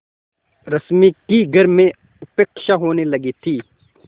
रश्मि की घर में उपेक्षा होने लगी थी